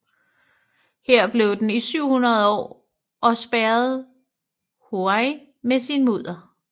Her blev den i 700 år og spærrede Huai med sit mudder